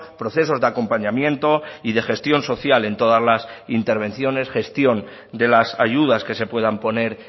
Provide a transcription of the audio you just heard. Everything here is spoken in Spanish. procesos de acompañamiento y de gestión social en todas las intervenciones gestión de las ayudas que se puedan poner